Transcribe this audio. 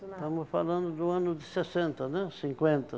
Estamos falando do ano de sessenta, né, cinquenta